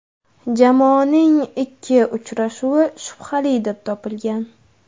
Jamoaning ikki uchrashuvi shubhali deb topilgan.